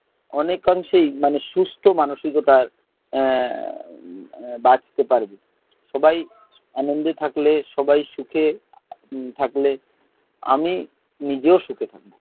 অনেকখন সেই মানে, সুস্থ মানসিকতার এর বাঁচতে পারব। সবাই আনন্দে থাকলে সবাই সুখে থাকলে, আমি নিজেও সুখে থাকবো।